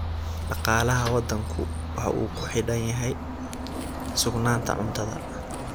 Dhaqaalaha waddanku waxa uu ku xidhan yahay sugnaanta cuntada.